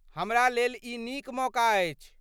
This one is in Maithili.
हमरा लेल ई नीक मौका अछि।